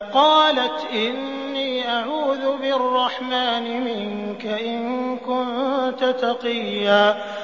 قَالَتْ إِنِّي أَعُوذُ بِالرَّحْمَٰنِ مِنكَ إِن كُنتَ تَقِيًّا